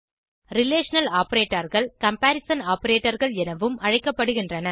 relational operatorகள் comparison operatorகள் எனவும் அழைக்கப்படுகிறது